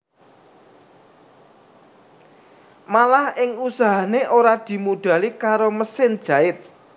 Malah ing usahané ora dimodhali karo mesin jait